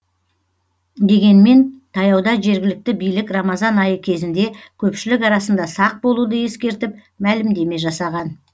дегенмен таяуда жергілікті билік рамазан айы кезінде көпшілік арасында сақ болуды ескертіп мәлімдеме жасаған